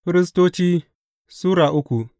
Firistoci Sura uku